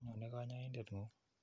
Nyone kanyoindet ng'ung'.